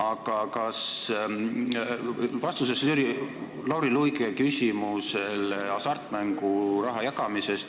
Aga vastusest Lauri Luige küsimusele, sellest hasartmänguraha jagamisest.